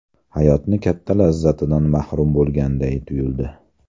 Hayotni katta lazzatidan mahrum bo‘lganday tuyuldi.